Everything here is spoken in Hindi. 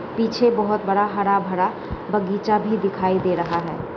पीछे बहोत बड़ा हरा-भरा बगीचा भी दिखाई दे रहा हैं।